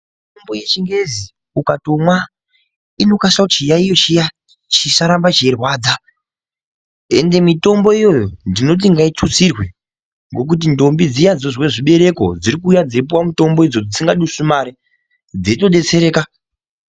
Mitombo yechingezi ukatomwa inokasa kuti chiyaiyo chiya chisaramba cheirwadza ende mitombo iyoyo ndinoti ngaitutsirwe ngokuti ntombi dziya dzinozwa zvibereko dziri kuuya dzeipuwa mutombodzo dzisingadusi mare dzeitodetsereka.